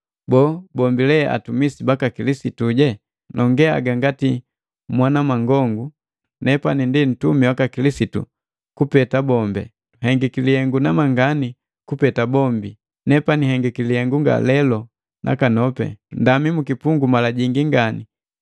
Boo, bombi ndi atumisi baka Kilisitu? Nongee haga ngati mwanamangongu nepani ndi nuntumi waka Kilisitu kupeta bombi. Nhengiki lihengu namangani kupeta bombi. Nepani nhengiki lihengu ngalelo nakanopi, Ndami mukipungu mala jingi ngani, anapwi mala jingi ngani na nhegali kuwa mala jingi.